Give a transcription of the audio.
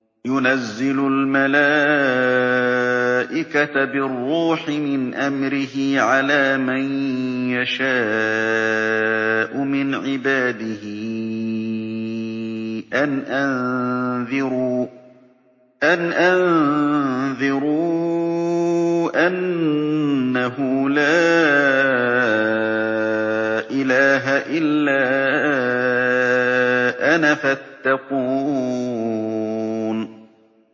يُنَزِّلُ الْمَلَائِكَةَ بِالرُّوحِ مِنْ أَمْرِهِ عَلَىٰ مَن يَشَاءُ مِنْ عِبَادِهِ أَنْ أَنذِرُوا أَنَّهُ لَا إِلَٰهَ إِلَّا أَنَا فَاتَّقُونِ